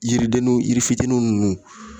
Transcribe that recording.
Yiridenw yiri fitinin ninnu